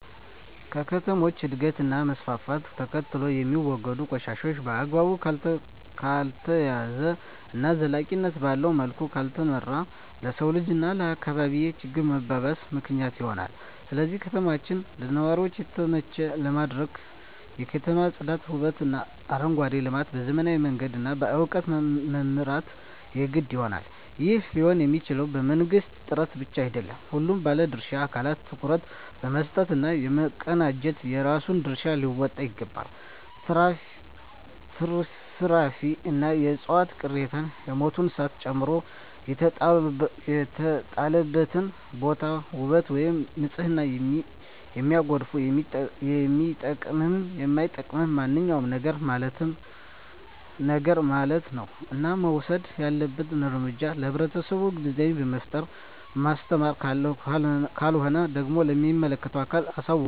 ከከተሞች እድገት እና መስፍፍት ተከትሎየሚወገዱ ቆሻሻ በአግባቡ ካልተያዘ እና ዘላቂነት ባለዉ መልኩ ካልተመራ ለሰዉ ልጅ እና ለአካባቢ ችግር መባባስ ምክንያት ይሆናል ስለዚህ ከተማችን ለነዋሪዎች የተመቸ ለማድረግ የከተማ ፅዳት ዉበትእና አረንጓዴ ልማት በዘመናዊ መንገድ እና በእዉቀት መምራት የግድ ይሆናል ይህም ሊሆንየሚችለዉ በመንግስት ጥረት ብቻ አይደለም ሁሉም ባለድርሻ አካላት ትኩረት በመስጠት እና በመቀናጀት የራሱን ድርሻ ሊወጣ ይገባል ትርፍራፊንእና የዕፅዋት ቅሪትን የሞቱ እንስሳትን ጨምሮ የተጣለበትን ቦታ ዉበት ወይም ንፅህናን የሚያጎድፍ የሚጠቅምም የማይጠቅምም ማንኛዉም ነገርማለት ነዉ እና መወሰድ ያለበት እርምጃ ለህብረተሰቡ ግንዛቤ በመፍጠር ማስተማር ካልሆነ ደግሞ ለሚመለከተዉ አካል አሳዉቆ ቅጣቱን እንዲያገኝ ማድረግይገባል